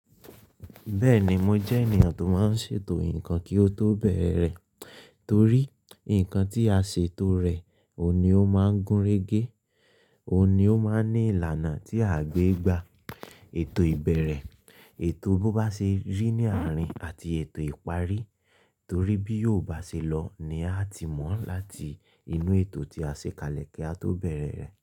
Bẹ́ẹ̀ni mo jẹ́ ènìyàn tó máa ń ṣètò nǹkan kí ó tó bẹ̀rẹ̀ re, torí nǹkan tí a ṣètò rẹ̀, òun ni ó máa gúnrégé, òun ni ó máa ní ìlànà tí à gbé gba ètò ìbẹ̀rẹ̀, ètò bó bá ṣe rí ní àárín àti ètò ìparí torí bí yóò bá ṣe lọ ni a ti mọ̀ láti inú ètò tí a ṣe kalẹ̀ kí a tó bẹ̀rẹ̀ rẹ̀